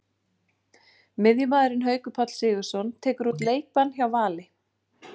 Miðjumaðurinn Haukur Páll Sigurðsson tekur út leikbann hjá Val.